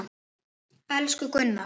Elsku Gunnar!